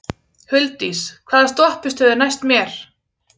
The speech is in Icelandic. Huldís, hvaða stoppistöð er næst mér?